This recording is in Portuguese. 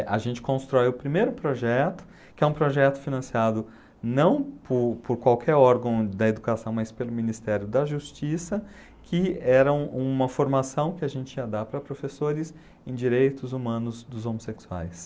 A gente constrói o primeiro projeto, que é um projeto financiado não por por qualquer órgão da educação, mas pelo Ministério da Justiça, que era um uma formação que a gente ia dar para professores em direitos humanos dos homossexuais.